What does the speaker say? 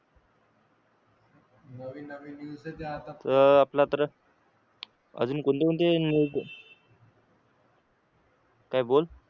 काय बोल